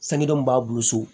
Sangeden mun b'a bolo so